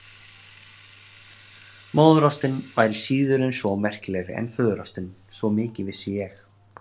Móðurástin væri síður en svo merkilegri en föðurástin, svo mikið vissi ég.